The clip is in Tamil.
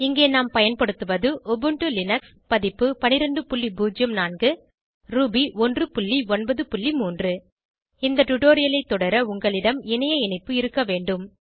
இங்கே நாம் பயன்படுத்துவது உபுண்டு லினக்ஸ் பதிப்பு 1204 ரூபி 193 இந்த டுடோரியலை தொடர உங்களிடம் இணைய இணைப்பு இருக்க வேண்டும்